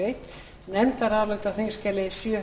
virðulegi forseti ég flyt hér